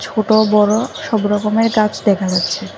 ছোট বড় সব রকমের গাছ দেখা যাচ্ছে।